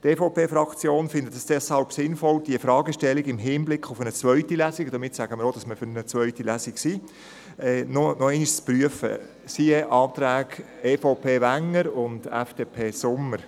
Die EVP-Fraktion findet es deshalb sinnvoll, diese Frage im Hinblick auf eine zweite Lesung – und damit sagen wir auch, dass wir für eine zweite Lesung sind – noch einmal zu prüfen, siehe Anträge EVP/Wenger und FDP/Sommer.